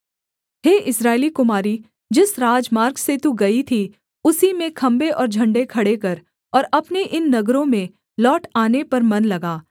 हे इस्राएली कुमारी जिस राजमार्ग से तू गई थी उसी में खम्भे और झण्डे खड़े कर और अपने इन नगरों में लौट आने पर मन लगा